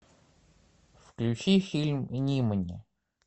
включи фильм нимани